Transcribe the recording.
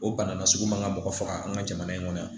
O bana na sugu man ka mɔgɔ faga an ka jamana in kɔnɔ yan